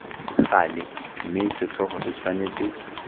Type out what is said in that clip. gale mme setlhogo se tshwanetse